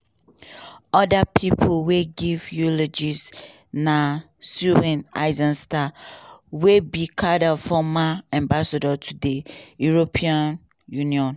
oda pipo wey give eulogies na stuart eizenstat wey be carter former ambassador to di european union.